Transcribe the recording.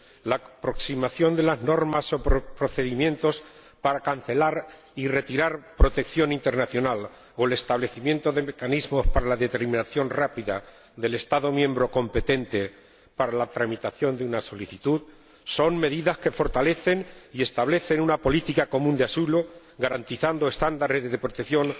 la aproximación de las normas o procedimientos para conceder y retirar la protección internacional o el establecimiento de mecanismos para la determinación rápida del Estado miembro competente para la tramitación de una solicitud son medidas que fortalecen y establecen una política común de asilo, garantizando estándares de protección